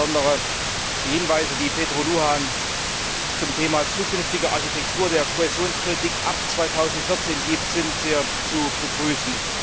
Insbesondere die Hinweise, die Petru Luhan zum Thema Zukünftige Architektur der Kohäsionspolitik ab 2014 gibt, sind sehr zu begrüßen.